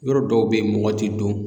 Yɔrɔ dɔw bɛ yen mɔgɔ tɛ don.